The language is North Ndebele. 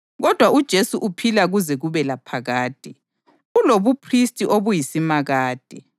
kodwa uJesu uphila kuze kube laphakade, ulobuphristi obuyisimakade.